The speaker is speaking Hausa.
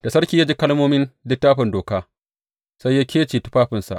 Da sarki ya ji kalmomin Littafin Doka, sai ya kece tufafinsa.